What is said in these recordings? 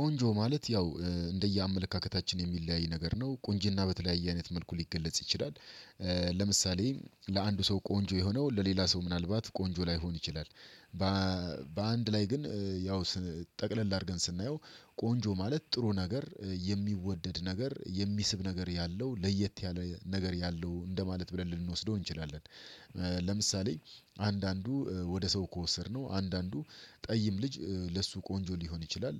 ቆንጆ ማለት ያው እንደየአመለካከታችን የሚለያይ ነገር ነው ቁንጅና በተለያየ አይነት መልኩ ሊገለጽ ይችላል። ለምሳሌ ለአንዱ ሰው ቆንጆ የሆነው ለሌላ ሰው ምናልባት ቆንጆ ላይሆን ይችላል። በአንድ ላይ ግን ያው ጠቅለል አድርገን ስናየው ቆንጆ ማለት ጥሩ ነገር የሚወደድ ነገር የሚስብ ነገር ያለው ለየት ያለ ነገር ያለው እንደማለት ብለን ልንወስደው እንችላለን። ለምሳሌ አንዳንዱ ወደ ሰው ከወሰድነው አንዳንዱ ጠይም ልጅ ለሱ ቆንጆ ሊሆን ይችላል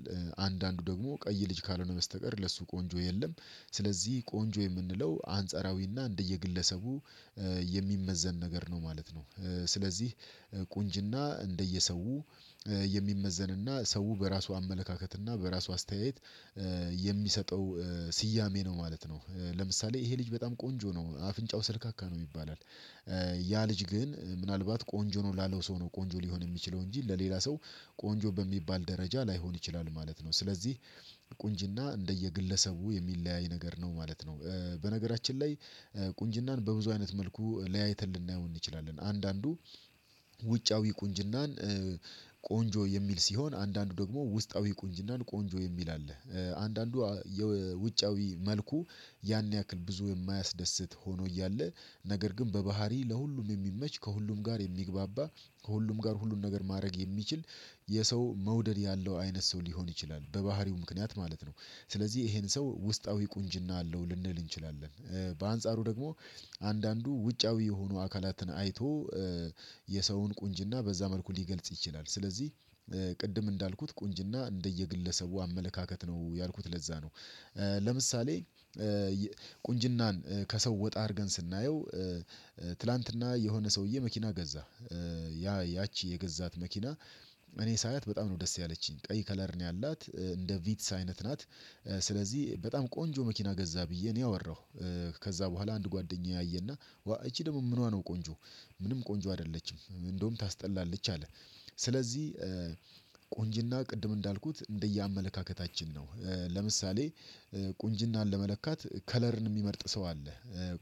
አንዳንዱ ደግሞ ቀይ ልጅ ካልሆነ በስተቀር ለሱ ቆንጆ የለም። ስለዚህ ቆንጆ የምንለው አንጻራዊና እንደየግለሰቡ የሚመዘን ነገር ነው ማለት ነው። ስለዚህ ቁንጅና እንደየሰው የሚመዘንና ሰው በራሱ አመለካከትና በራሱ አስተያየት የሚሰጠው ስያሜ ነው ማለት ነው። ለምሳሌ ይሄ ልጅ በጣም ቆንጆ ነው አፍንጫው ሰልካካ ነው ይባላል። ያ ልጅ ግን ምናልባት ቆንጆ ነው ላለው ሰው ነው ቆንጆ ሊሆን የሚችለው እንጂ ለሌላ ሰው ቆንጆ በሚባል ደረጃ ላይሆን ይችላል ማለት ነው። ስለዚህ ቁንጅና እንደየግለሰቡ የሚለያይ ነገር ነው ማለት ነው። በነገራችን ላይ ቁንጅናን በብዙ አይነት መልኩ ለያይተን ልናየው እንችላለን። አንዳንዱ ውጫዊ ቁንጅናን ቆንጆ የሚል ሲሆን አንዳንዱ ደግሞ ውስጣዊ ቁንጅናን ቆንጆ የሚል አለ። አንዳንዱ የውጫዊ መልኩ ያን ያክል ብዙ የማያስደስት ሆኖ እያለ ነገር ግን በባህሪ ለሁሉም የሚመች ከሁሉም ጋር የሚግባባ ከሁሉም ጋር ሁሉን ነገር ማድረግ የሚችል የሰው መውደድ ያለው አይነት ሰው ሊሆን ይችላል በባህሪው ምክንያት ማለት ነው። ስለዚህ ይሄን ሰው ውስጣዊ ቁንጅና አለው ልንል እንችላለን። በአንጻሩ ደግሞ አንዳንዱ ውጫዊ የሆኑ አካላትን አይቶ የሰውን ቁንጅና በዛ መልኩ ሊገልጽ ይችላል። ስለዚህ ቅድም እንዳልኩት ቁንጅና እንደየግለሰቡ አመለካከት ነው ያልኩት ለዛ ነው። ለምሳሌ ቁንጅናን ከሰው ወጣ አድርገን ስናየው ትላንትና የሆነ ሰውዬ መኪና ገዛ። ያ ያቺ የገዛት መኪና እኔ ሳያት በጣም ነው ደስ ያለችኝ ቀይ ከለር ነው ያላት እንደ ቪትስ አይነት ናት። ስለዚህ በጣም ቆንጆ መኪና ገዛ ብዬ እኔ አወራሁ። ከዛ በኋላ አንድ ጓደኛዬ አየና ይቺ ደግሞ ምኗ ነው ቆንጆ? ምንም ቆንጆ አይደለችም እንደውም ታስጠላለች አለ። ስለዚህ ቁንጅና ቅድም እንዳልኩት እንደየአመለካከታችን ነው። ለምሳሌ ቁንጅናን ለመለካት ከለርን የሚመርጥ ሰው አለ።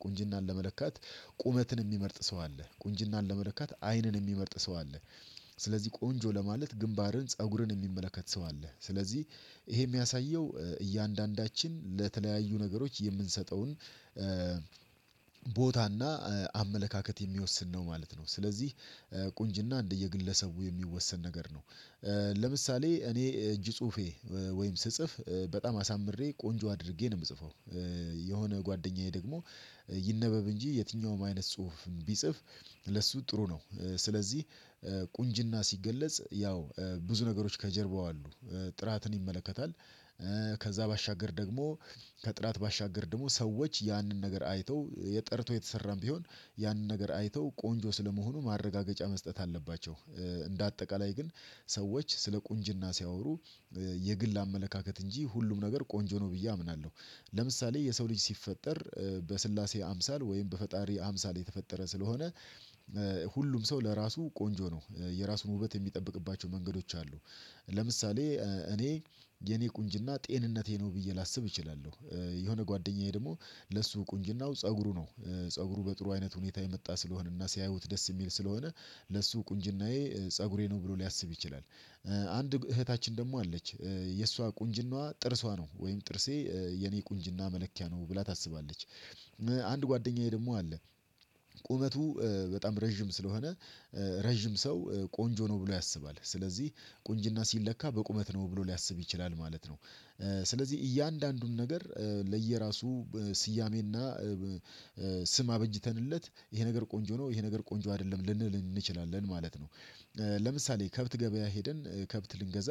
ቁንጅናን ለመለካት ቁመትን የሚመርጥ ሰው አለ ቁንጅናን ለመለካት አይንን የሚመርጥ ሰው አለ። ስለዚህ ቆንጆ ለማለት ግንባርን ፀጉርን የሚመለከት ሰው አለ ስለዚህ ይሄ የሚያሳየው እያንዳንዳችን ለተለያዩ ነገሮች የምንሰጠውን ቦታና አመለካከት የሚወስን ነው ማለት ነው። ስለዚህ ቁንጅና እንደየግለሰቡ የሚወሰን ነገር ነው። ለምሳሌ እኔ እጅ ጽሁፌ ወይም ስጽፍ በጣም አሳምሬ ቆንጆ አድርጌ ነው የምጽፈው። የሆነ ጓደኛዬ ደግሞ ይነበብ እንጂ የትኛውም አይነት ጽሁፍ ቢጽፍ ለሱ ጥሩ ነው። ስለዚህ ቁንጅና ሲገለጽ ያው ብዙ ነገሮች ከጀርባው አሉ ጥራትን ይመለከታል። ከዛ ባሻገር ደግሞ ከጥራት ባሻገር ደግሞ ሰዎች ያንን ነገር አይተው የጠርቶ የተሰራም ቢሆን ያንን ነገር አይተው ቆንጆ ስለመሆኑ ማረጋገጫ መስጠት አለባቸው። እንደ አጠቃላይ ግን ሰዎች ስለ ቁንጅና ሲያወሩ የግል አመለካከት እንጂ ሁሉም ነገር ቆንጆ ነው ብዬ አምናለሁ። ለምሳሌ የሰው ልጅ ሲፈጠር በሥላሴ አምሳል ወይም በፈጣሪ አምሳል የተፈጠረ ስለሆነ ሁሉም ሰው ለራሱ ቆንጆ ነው የራሱን ውበት የሚጠብቅባቸው መንገዶች አሉ። ለምሳሌ እኔ የኔ ቁንጅና ጤንነቴ ነው ብዬ ላስብ እችላለሁ። የሆነ ጓደኛዬ ደግሞ ለሱ ቁንጅናው ፀጉሩ ነው ፀጉሩ በጥሩ አይነት ሁኔታ የመጣ ስለሆነና ሲያዩት ደስ የሚል ስለሆነ ለሱ ቁንጅናዬ ፀጉሬ ነው ብሎ ሊያስብ ይችላል። አንድ እህታችን ደግሞ አለች የእሷ ቁንጅናዋ ጥርሷ ነው ወይም ጥርሴ የኔ ቁንጅና መለኪያ ነው ብላ ታስባለች። አንድ ጓደኛዬ ደግሞ አለ። ቁመቱ በጣም ረጅም ስለሆነ ረጅም ሰው ቆንጆ ነው ብሎ ያስባል። ስለዚህ ቁንጅና ሲለካ በቁመት ነው ብሎ ሊያስብ ይችላል ማለት ነው። ስለዚህ እያንዳንዱን ነገር ለየራሱ ስያሜና ስም አበጅተንለት ይሄ ነገር ቆንጆ ነው ይሄ ነገር ቆንጆ አይደለም ልንል እንችላለን ማለት ነው። ለምሳሌ ከብት ገበያ ሄደን ከብት ልንገዛ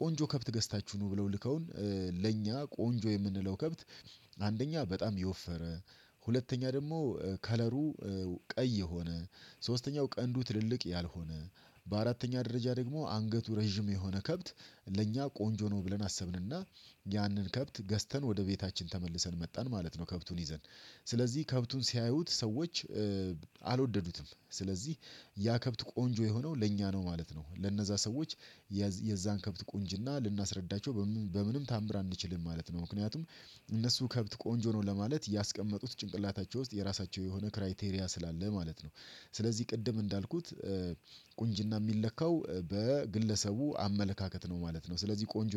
ቆንጆ ከብት ገዝታችሁ ኑ ብለው ልከውን ለእኛ ቆንጆ የምንለው ከብት። አንደኛ በጣም የወፈረ ሁለተኛ ደግሞ ከለሩ ቀይ የሆነ ሶስተኛው ቀንዱ ትልልቅ ያልሆነ በአራተኛ ደረጃ ደግሞ አንገቱ ረዥም የሆነ ከብት። ለእኛ ቆንጆ ነው ብለን አሰብንና ያንን ከብት ገዝተን ወደ ቤታችን ተመልሰን መጣን ማለት ነው። ከብቱን ይዘን ስለዚህ ከብቱን ሲያዩት ሰዎች አልወደዱትም ስለዚህ ያ ከብት ቆንጆ የሆነው ለእኛ ነው ማለት ነው። ለነዛ ሰዎች የዛን ከብት ቁንጅና ልናስረዳቸው በምንም ተአምር አንችልም ማለት ነው። ምክንያቱም እነሱ ከብት ቆንጆ ነው ለማለት ያስቀመጡት ጭንቅላታቸው ውስጥ የራሳቸው የሆነ ክራይቴሪያ ስላለ ማለት ነው። ስለዚህ ቅድም እንዳልኩት ቁንጅና የሚለካው በግለሰቡ አመለካከት ነው ማለት ነው። ስለዚህ ቆንጆ